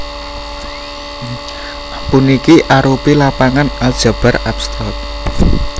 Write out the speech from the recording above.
Puniki arupi lapangan aljabar abstrak